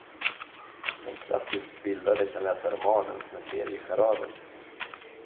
Den klassiskt bildade kan läsa romanen som en serie charader.